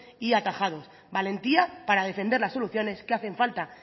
y atajados valentía para defender las soluciones que hacen falta